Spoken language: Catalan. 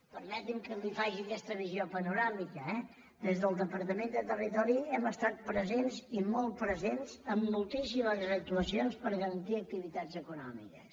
permeti’m que li faci aquesta visió panoràmica eh des del departament de territori hem estat presents i molt presents en moltíssimes actuacions per garantir activitats econòmiques